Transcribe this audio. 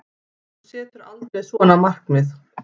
Þú setur aldrei svona markmið.